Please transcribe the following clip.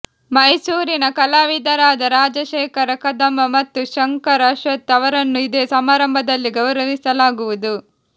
ಮೈಸೂರಿನ ಕಲಾವಿದರಾದ ರಾಜಶೇಖರ ಕದಂಬ ಮತ್ತು ಶಂಕರ್ ಅಶ್ವಥ್ ಅವರನ್ನು ಇದೇ ಸಮಾರಂಭದಲ್ಲಿ ಗೌರವಿಸಲಾಗುವುದು